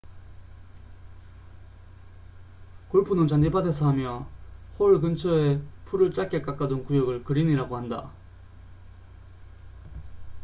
골프는 잔디밭에서 하며 홀 근처에 풀을 짧게 깎아둔 구역을 그린이라고 한다